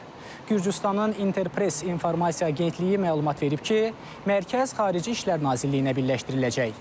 Gürcüstanın Interpress informasiya agentliyi məlumat verib ki, mərkəz Xarici İşlər Nazirliyinə birləşdiriləcək.